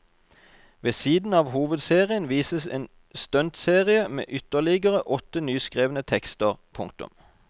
Ved siden av hovedserien vises en stuntserie med ytterlig åtte nyskrevne tekster. punktum